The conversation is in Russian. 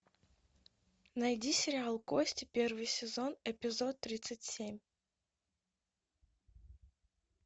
найди сериал кости первый сезон эпизод тридцать семь